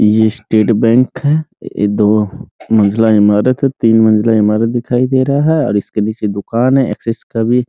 ये state bank है दो मंजिला ईमारत है तीन मंजिला ईमारत दिखाई दे रहा है और इसके नीचे दुकान है एक्सेस का भी।